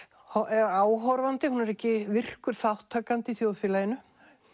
er áhorfandi hún er ekki virkur þátttakandi í þjóðfélaginu